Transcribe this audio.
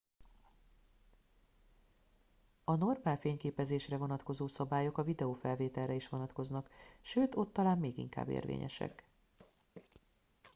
a normál fényképezésre vonatkozó szabályok a videofelvételre is vonatkoznak sőt ott talán még inkább érvényesek